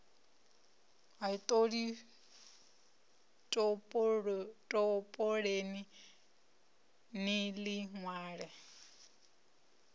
ḽi topoleni ni ḽi ṅwale